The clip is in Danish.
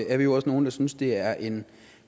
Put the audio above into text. er vi også nogle der synes at det er en